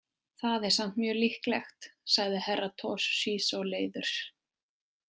Það er samt mjög líklegt, sagði Herra Toshizo leiður.